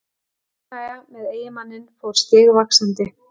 Óánægjan með eiginmanninn fór stigvaxandi.